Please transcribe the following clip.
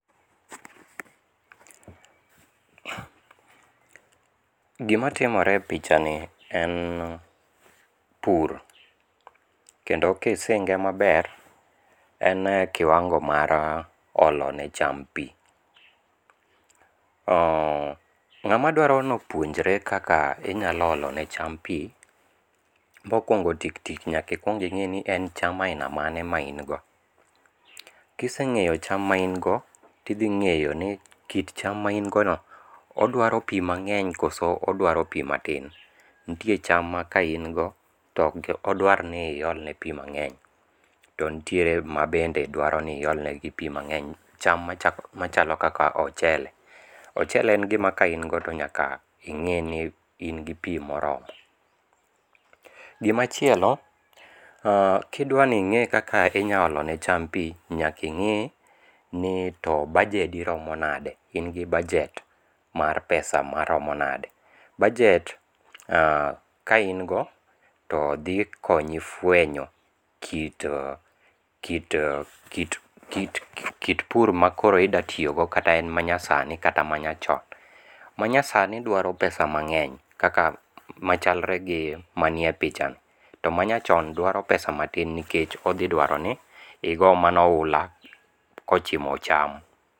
Gimatimore e pichani en pur kendo kisinge maber en kiwango' mar olonecham pi, nga'madwaro ni opuonjre kaka inyalo olone cham pi, mokuongo' tik tik nyaka ikuongi ngi' ni en cham aina mane ma ingo , kisenge'o cham na ingo to ithinge'yo ni kit cham ma in go no odwaro pi mange'ny koso odwaro pi matin, nitie cham ma ka in go odwaro iolne pi mange'ny to nitiere ma bende dwaro ni iolnegi pi mange'ny, cham ma chalo kaka ochele, ochele en gima ka in godo to nyaka inge'ni ingi pi moromo, gimachielo kidwani nge' kika idwa olone cham pi nyaka inge ni to bajedi romo nade, ingi budget mar pesa maromo nade, budget ka in go to thi konyi fwenyo kit kit kit pur ma koro idatiyogo kata en manyasani kata en manyachon, manyasani dwaro pesa mange'ny kaka machalre gi manie pichano to mnayachon dwaro pesa matin nikech othi dwaroni igo mana oula kochimo cham.